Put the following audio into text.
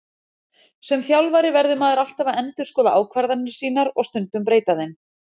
Sem þjálfari verður maður alltaf að endurskoða ákvarðanir sínar og stundum breyta þeim.